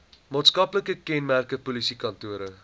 maatskaplike kenmerke polisiekantore